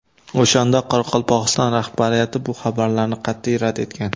O‘shanda Qoraqalpog‘iston rahbariyati bu xabarlarni qat’iy rad etgan.